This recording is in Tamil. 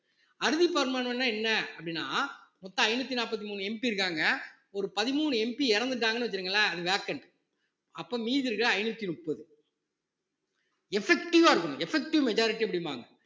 அறுதி என்ன அப்படின்னா மொத்தம் ஐநூத்தி நாப்பத்தி மூணு MP இருக்காங்க ஒரு பதிமூணு MP இறந்துட்டாங்கன்னு வச்சுக்கோங்களேன் அது vacant அப்ப மீதி இருக்கிற ஐந்நூத்தி முப்பது effective ஆ இருக்கணும் effective majority அப்படிம்பாங்க